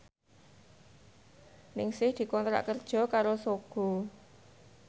Ningsih dikontrak kerja karo Sogo